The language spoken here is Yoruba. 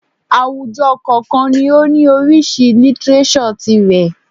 Àwùjọ kọ̀ọ̀kan ni ó ní oríṣìí lítíréṣọ̀ tirẹ̀